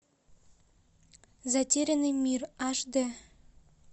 затерянный мир аш д